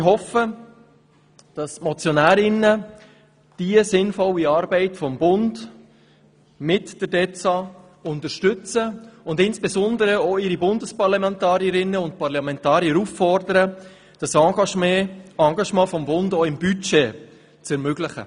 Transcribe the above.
Ich hoffe, dass die Motionärinnen diese sinnvolle Arbeit des Bundes mit der Direktion für Entwicklung und Zusammenarbeit (DEZA) unterstützen und insbesondere auch ihre Bundesparlamentarierinnen und -parlamentarier auffordern, das Engagement des Bundes auch hinsichtlich des Budgets zu ermöglichen.